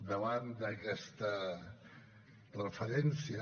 davant d’aquesta referència